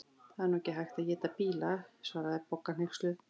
Það er nú ekki hægt að éta bíla svaraði Bogga hneyksluð.